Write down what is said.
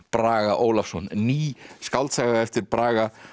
Braga Ólafsson ný skáldsaga eftir Braga